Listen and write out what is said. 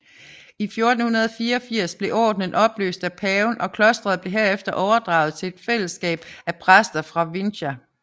I 1484 blev ordenen opløst af paven og klosteret blev herefter overdraget til et fællesskab af præster fra Vinça